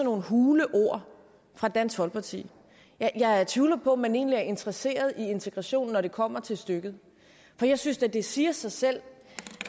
hule ord fra dansk folkeparti jeg tvivler på at man egentlig er interesseret i integration når det kommer til stykket for jeg synes da det siger sig selv